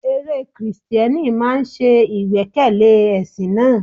Eré Kristẹni máa ń ṣe ìgbẹ́kẹ̀lé ẹ̀sìn náà.